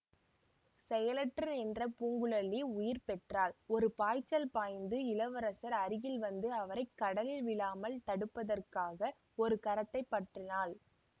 செயலற்று நின்ற பூங்குழலி உயிர் பெற்றாள் ஒரு பாய்ச்சல் பாய்ந்து இளவரசர் அருகில் வந்து அவரை கடலில் விழாமல் தடுப்பதற்காக ஒரு கரத்தைப் பற்றினாள்